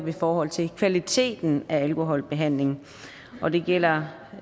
i forhold til kvaliteten af alkoholbehandlingen og det gælder